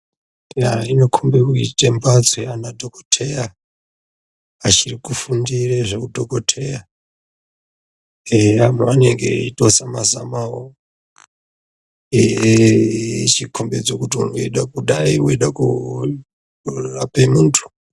Eya zvinokombe kuite mbatso yaanadhokoteya achiri kufundire zveudhokoteya. Abaaoneke eitozama-zamawo echikombidza kuti wangadayi weirape muntu.